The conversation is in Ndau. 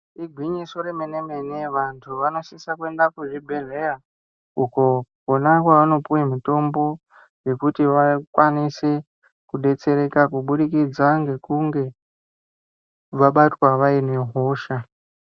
Igwinyiso remene mene vanhu vanosisa kuenda kuzvibhehleya uko kwona kwavanopiwa mitombo yekuti vakwanise kudetsereka kubudikidza kweekunge vabatwa vaine hosha.